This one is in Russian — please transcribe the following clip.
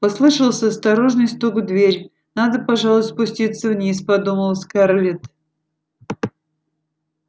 послышался осторожный стук в дверь надо пожалуй спуститься вниз подумала скарлетт